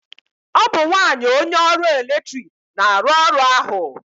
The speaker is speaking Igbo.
ọ bụ nwanyị onye ọrụ eletrik na-arụ ọrụ ahụ